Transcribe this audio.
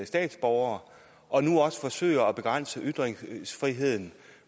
statsborgere og nu også forsøger at begrænse ytringsfriheden